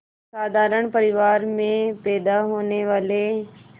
साधारण परिवार में पैदा लेने वाले